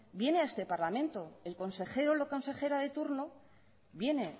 viene a este parlamento el consejero o la consejera de turno viene